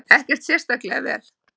Ekkert sérstaklega vel.